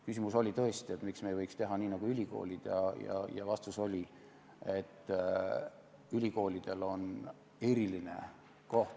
Küsimus oli tõesti, et miks me ei võiks teha nii nagu ülikoolid, ja vastus oli, et ülikoolidel on põhiseaduses eriline koht.